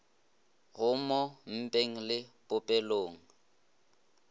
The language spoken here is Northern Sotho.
go mo mpeng le popelong